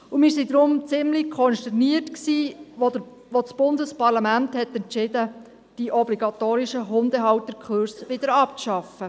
Wir waren deshalb ziemlich konsterniert, als das Bundesparlament entschieden hat, die obligatorischen Hundehalterkurse abzuschaffen.